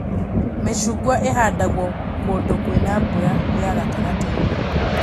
Mĩcungwa ĩhandagwo kũndũ kwĩna mbura ya gatagatĩ-inĩ